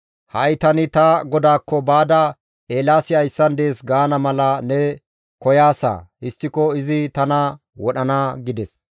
Ha7i tani ta godaakko baada, ‹Eelaasi hayssan dees› gaana mala ne koyaasa. Histtiko izi tana wodhana» gides.